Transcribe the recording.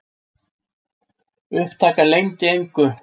Upptakan leyndi engu.